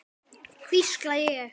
hvísla ég.